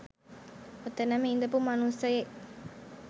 ඔතනම ඉඳපු මනුස්සයෙක්